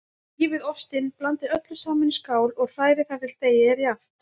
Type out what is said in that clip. Rífið ostinn, blandið öllu saman í skál og hrærið þar til deigið er jafnt.